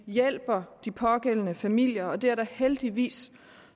hjælpe de pågældende familier og det er der heldigvis